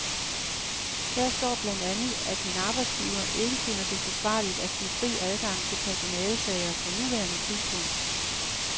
Her står blandt andet, at min arbejdsgiver ikke finder det forsvarligt at give fri adgang til personalesager på nuværende tidspunkt.